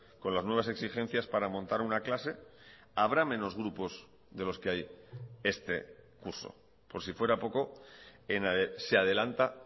con las nuevas exigencias para montar una clase habrá menos grupos de los que hay este curso por si fuera poco se adelanta